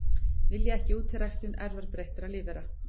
Vilja ekki útiræktun erfðabreyttra lífvera